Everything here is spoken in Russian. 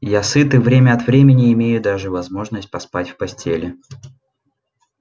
я сыт и время от времени имею даже возможность поспать в постели